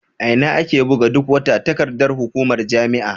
A ina ake buga duk wata takardar hukumar jami'a?